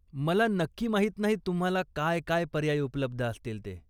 मला नक्की माहीत नाही तुम्हाला काय काय पर्याय उपलब्ध असतील ते.